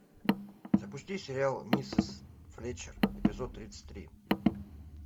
запусти сериал миссис флетчер эпизод тридцать три